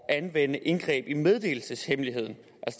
anvende indgreb i meddelelseshemmeligheden